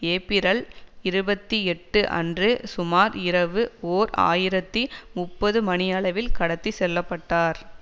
ஏப்பிரல் இருபத்தி எட்டு அன்று சுமார் இரவு ஓர் ஆயிரத்தி முப்பது மணியளவில் கடத்தி செல்ல பட்டார்